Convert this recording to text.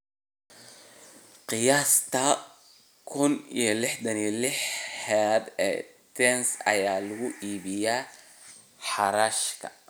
Qiyaasta 1066 -heard -Eard-Thens ayaa lagu iibiyaa xaraashka